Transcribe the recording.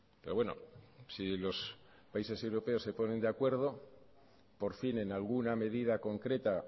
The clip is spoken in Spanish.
pero bueno si los países europeos se ponen de acuerdo por fin en alguna medida concreta